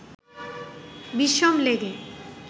বিষম লেগে